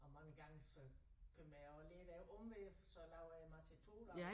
Og mange gange så kommer jeg også lidt ad omveje for så laver jeg mad til 2 dage